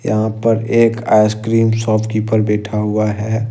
यहां पर एक आइसक्रीम शॉपकीपर बैठा हुआ है।